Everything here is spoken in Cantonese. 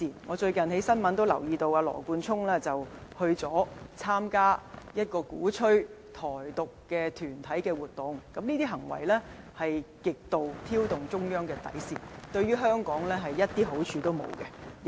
我最近從新聞報道留意到，羅冠聰議員曾參加鼓吹台獨團體的活動，這是極度挑動中央底線的行為，對香港毫無好處。